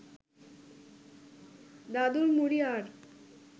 দাদুর মুড়ি আর